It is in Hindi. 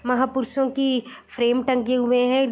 महापुरुषों की फ्रेम टंगे हुए है।